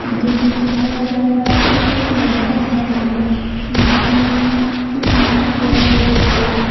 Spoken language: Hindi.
दृश्य में दिखाया जा रहा हैं एक बहुत लंबा मकान है जिसमें की कुछ लिखा गया है रेड कलर से।